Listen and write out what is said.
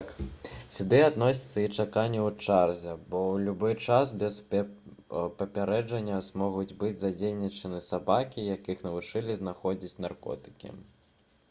сюды адносіцца і чаканне ў чарзе бо ў любы час без папярэджання могуць быць задзейнічаны сабакі якіх навучылі знаходзіць наркотыкі